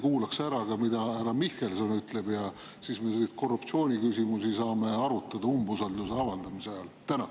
Kuulaks ehk ära, mida härra Mihkelson ütleb, ja korruptsiooniküsimusi saame arutada umbusalduse avaldamise ajal.